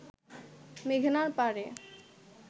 মেঘনার পাড়ে